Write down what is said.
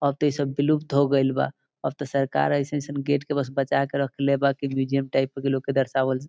अब त ई सब विलुकत होगील बा अब त सर्कार अइसन अइसन गेट के बस बचके रखले बा की म्यूजियम टाइप लोग के दर्शावल जाइ।